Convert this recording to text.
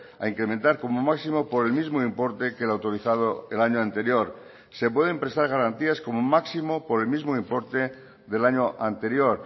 a incrementar como máximo por el mismo importe que el autorizado el año anterior se pueden prestar garantías como máximo por el mismo importe del año anterior